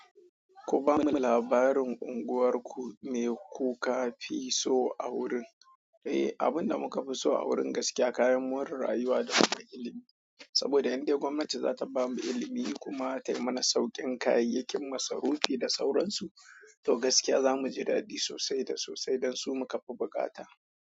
Ku ba mu labarin unguwarku me ku ka fi so a wurin. Eh, abun da muka fi so a wurin gaskiya kayan more rayuwa da kuma ilimi. Saboda indai gwamnati za ta bamu ilimi kuma ta yi mana sauƙin kayayyakin masarufi da sauransu. To gaskiya za mu ji dadi sosai da sosai don su muka fi bukata.